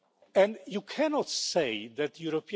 Africa and